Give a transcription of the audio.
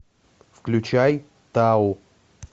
включай тау